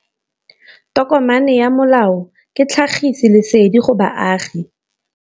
Tokomane ya molao ke tlhagisi lesedi go baagi.